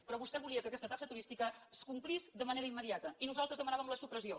però vostè volia que aquesta taxa turística es complís de manera immediata i nosaltres en demanàvem la supressió